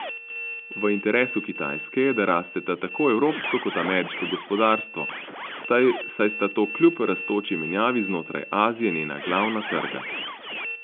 V interesu Kitajske je, da rasteta tako evropsko kot ameriško gospodarstvo, saj sta to kljub rastoči menjavi znotraj Azije njena glavna trga.